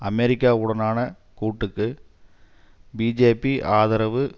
அமெரிக்காவுடனான கூட்டுக்கு பிஜேபி ஆதரவு